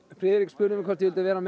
Friðrik spurði mig hvort ég vildi vera með